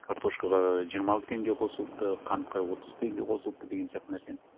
картошкаға жиырма алты теңге қосылыпты қантқа отыз теңге қосылыпты деген сияқты нәрсені